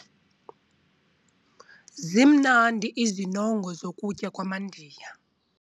Zimnandi izinongo zokutya kwamaNdiya.